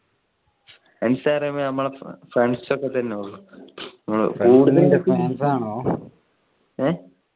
fans പറയുമ്പോ നമ്മളെ friends ഒക്കെ തന്നെ ഉള്ളു ഏഹ്